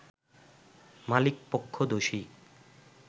মালিক পক্ষ দোষী